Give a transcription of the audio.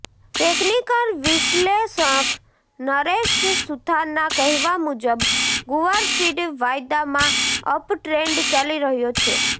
technical વિશ્લેષક નરેશ સુથારના કહેવા મુજબ ગુવારસીડ વાયદામાં અપટ્રેન્ડ ચાલી રહ્યો છે